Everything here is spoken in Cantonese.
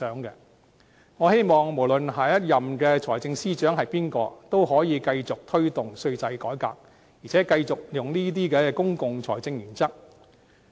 不論下任財政司司長是誰，我都希望他可以繼續推動稅制改革，並繼續採用這些公共財政原則。